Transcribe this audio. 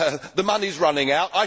The money is running out.